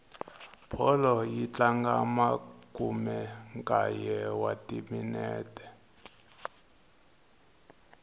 bolo yi tlanga makumenkaye wa timinete